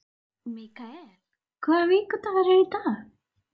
Mikael, hvaða vikudagur er í dag?